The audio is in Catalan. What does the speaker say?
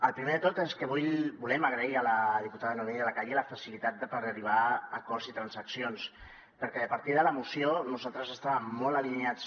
el primer de tot és que volem agrair a la diputada noemí de la calle la facilitat per arribar a acords i transaccions perquè a partir de la moció nosaltres estàvem molt alineats